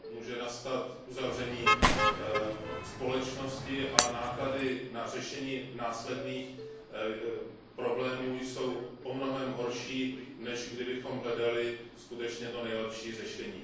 Může nastat uzavření společnosti a náklady na řešení následných problémů jsou mnohem horší, než kdybychom hledali skutečně to nejlepší řešení.